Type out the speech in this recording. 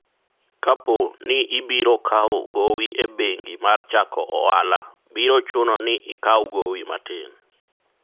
akpo ni ibiro kawo gowi e bengi mar chako ohala, biro chuno ni ikaw gowi matin